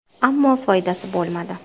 Ammo, foydasi bo‘lmadi.